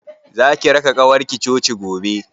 Zaki raka ƙawarki coci gobe?